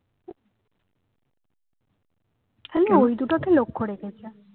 খালি ওই দুটোকে লক্ষ্য রেখেছে